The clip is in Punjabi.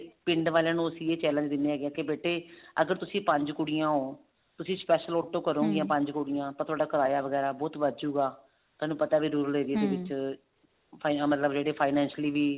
ਪਿੰਡ ਵਾਲੀਆਂ ਨੂੰ ਅਸੀਂ ਇਹ challenge ਦਿੰਨੇ ਆ ਕੇ ਬੇਟੇ ਅਗਰ ਤੁਸੀਂ ਪੰਜ ਕੁੜੀਆਂ ਹੋ ਤੁਸੀਂ special auto ਕਰੋਂਗੇ ਪੰਜ ਕੁੜੀਆਂ ਥੋਡਾ ਕਰਾਇਆ ਬਹੁਤ ਵੱਧ ਜਾਉਗਾ ਥੋਨੂੰ ਪਤਾ ਵੀ ਦੂਰਲੇ area ਦੇ ਵਿੱਚ final ਮਤਲਬ ਜਿਹੜੇ financially ਵੀ